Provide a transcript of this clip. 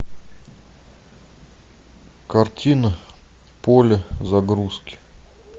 картина поле загрузки